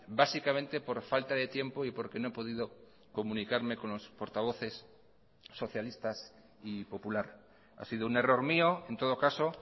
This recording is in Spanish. básicamente por falta de tiempo y porque no he podido comunicarme con los portavoces socialistas y popular ha sido un error mío en todo caso